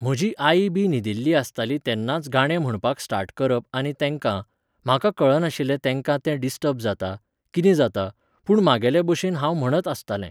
म्हजी आई बी न्हिदील्ली आसताली तेन्नाच गाणे म्हणपाक स्टार्ट करप आनी तेंकां, म्हाका कळनाशिल्लें तेंकां तें डिस्टर्ब जाता, कितें जाता, पूण म्हागेले बशेन हांव म्हणत आसतालें